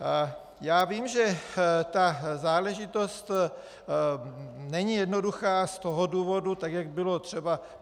Já vím, že ta záležitost není jednoduchá z toho důvodu, tak jak bylo třeba...